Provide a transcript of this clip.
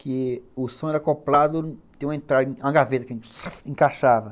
Que o som era acoplado, tinha uma entrada, uma gaveta que encaixava.